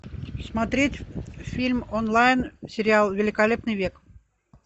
смотреть фильм онлайн сериал великолепный век